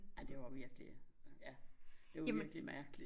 Ej det var virkelig ja det var virkelig mærkeligt